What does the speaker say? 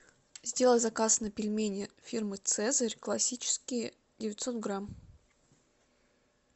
сделай заказ на пельмени фирмы цезарь классические девятьсот грамм